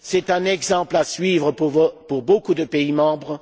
C'est un exemple à suivre pour beaucoup de pays membres.